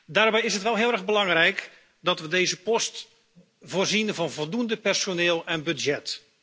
Daarbij is het wel heel erg belangrijk dat we deze post voorzien van voldoende personeel en budget.